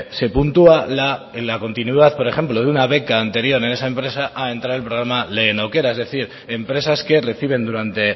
se puntúa en la continuidad por ejemplo de una beca anterior en esa empresa ha entrado el programa lehen aukera es decir empresas que reciben durante